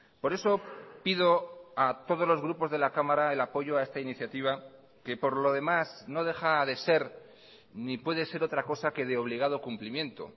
por eso pido a todos los grupos de la cámara el apoyo a esta iniciativa que por lo demás no deja de ser ni puede ser otra cosa que de obligado cumplimiento